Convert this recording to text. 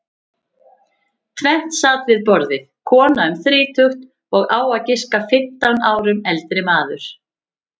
Tvennt sat við borðið, kona um þrítugt og á að giska fimmtán árum eldri maður.